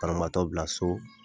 Banabagatɔ bila so.